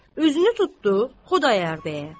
üzünü tutdu Xudayar bəyə.